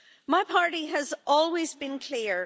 My party has always been clear.